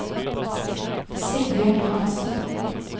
Sigbjørn Hanssen